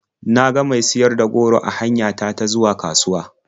Na ga mai siyar da goro a hanya ta ta zuwa kasuwa.